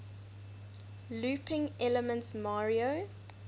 looping elements mario